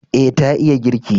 E, ta iya girki.